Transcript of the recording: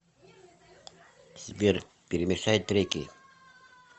сбер перемешай треки